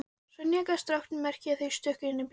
Sonja gaf strákunum merki og þeir stukku inn í bílinn.